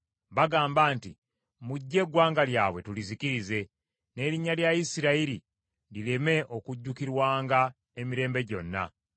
Bagamba nti, “Mujje eggwanga lyabwe tulizikirize, n’erinnya lya Isirayiri lireme okujjukirwanga emirembe gyonna!”